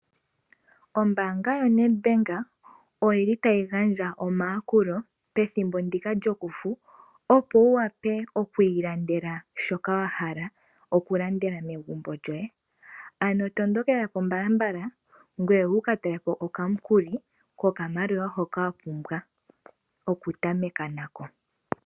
Ombanga yoNed Bank oyi li tayi gandja omayakulo pethimbo ndika lyokufu opo wu wape okwiilandela shoka wa hala megumbo lyoye , ano tondokelapo mbalambala ngoye wu kataleko okamukuli kokamaliwa hoka wa pumbwa okutameka nako.